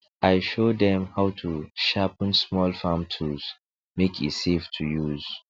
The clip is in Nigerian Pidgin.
i show dem how to sharpen small farm tools make e safe to use